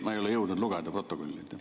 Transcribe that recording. Ma ei ole jõudnud protokolli lugeda.